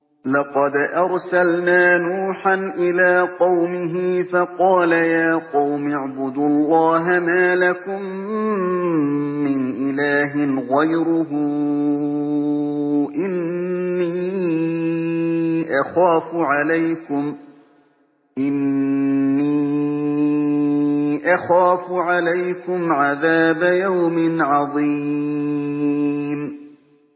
لَقَدْ أَرْسَلْنَا نُوحًا إِلَىٰ قَوْمِهِ فَقَالَ يَا قَوْمِ اعْبُدُوا اللَّهَ مَا لَكُم مِّنْ إِلَٰهٍ غَيْرُهُ إِنِّي أَخَافُ عَلَيْكُمْ عَذَابَ يَوْمٍ عَظِيمٍ